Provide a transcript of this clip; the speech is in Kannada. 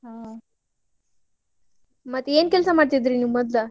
ಹೌದ ಹ ಮತ್ತ್ ಏನ್ ಕೆಲ್ಸಾ ಮಾಡ್ತಿದ್ರಿ ನೀವ್ ಮೊದ್ಲ?